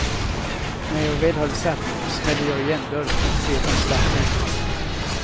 När jag väl hade satt mig, smällde jag igen dörren och vred om startnyckeln.